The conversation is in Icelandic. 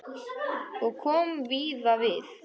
Og kom víða við.